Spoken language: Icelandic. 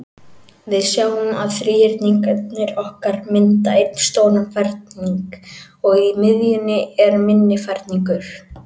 Við sjáum að þríhyrningarnir okkar mynda einn stóran ferning, og í miðjunni er minni ferningur.